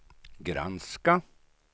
granska